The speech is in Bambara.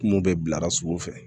Kungo bɛ bila sugu fɛ